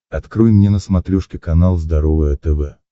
открой мне на смотрешке канал здоровое тв